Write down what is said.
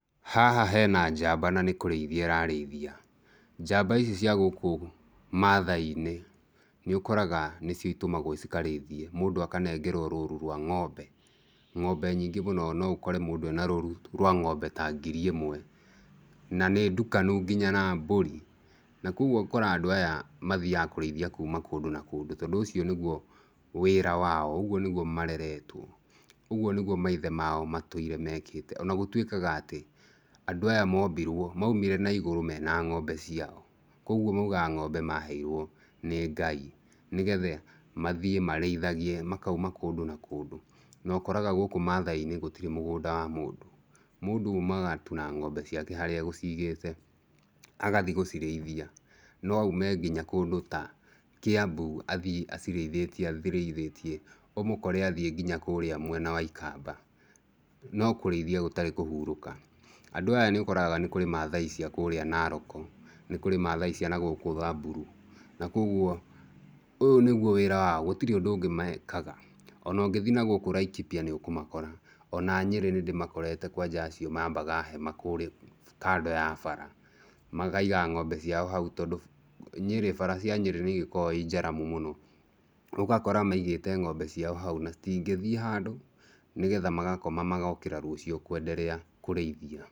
Haha hena njamba na nĩkũrĩithia ĩrarĩithia, njamba ici cia gũkũ mathai-inĩ nĩũkoraga nĩcio itũmagwo cikarĩithie, mũndũ akanengerwo rũru rwa ng'ombe. Ng'ombe nyingĩ mũno noũkore mũndũ ena rũru rwa ng'ombe ta ngiri ĩmwe na nĩndukanu nginya na mbũri, na koguo ũkoraga andũ aya mathiaga kũrĩithia kuma kũndũ na kũndũ tondũ ũcio nĩguo wĩra wao ũguo nĩguo mareretwo, ũguo nĩguo maithe mao matũire mekĩte ona gũtuĩkaga atĩ andũ aya mombirwo moimire na igũrũ mena ng'ombe ciao, koguo mougaga ng'ombe maheirwo nĩ Ngai nĩgetha mathiĩ marĩithagie makauma kũndũ na kũndũ, nokoraga gũkũ mathai-inĩ gũtirĩ mũgũnda wa mũndũ, mũndũ oumaga tu na ng'ombe ciake harĩa agũcigĩte agathiĩ gũciraithia, noaume nginya kũndũ ta Kĩambu athiĩ acirĩithĩtie acirĩithĩtie ũmũkore athiĩ nginya kũrĩa mwena wa Ikamba no kũrĩithia gũtarĩ kũhurũka. Andũ aya nĩũkoraga nĩkũrĩ Mathai cia kũrĩa Naroko nĩkũrĩ mathai cia nagũkũ Thamburu na koguo ũyũ nĩguo wĩra wao gũtirĩ ũndũ ũngĩ mekaga, ona ũngĩthiĩ nakũu Laikipia nĩũkũmakora ona Nyĩrĩ nĩndĩmakoretea, kwanja acio mambaga hema kũrĩ kando ya bara, makaiga ng'ombe ciao hau tondũ Nyĩrĩ bara cia Nyĩrĩ nĩigĩkoragwo irĩ njaramu mũno, ũgakora maigĩte ng'ombe ciao hau na citingĩthiĩ handũ nĩgetha magakoma magokĩra rũciũ kwenderea kũrĩithia.